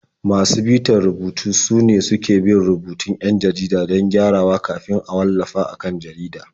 Masu bitar rubutu sune suke bin rubutun 'yan jarida don gyarawa kafin a wallafa a kan jarida.